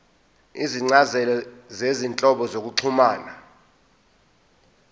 izincazelo zezinhlobo zokuxhumana